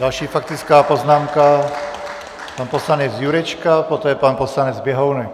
Další faktická poznámka, pan poslanec Jurečka, poté pan poslanec Běhounek.